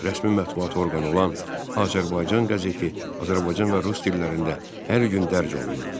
Rəsmi mətbuat orqanı olan Azərbaycan qəzeti Azərbaycan və rus dillərində hər gün dərc olunurdu.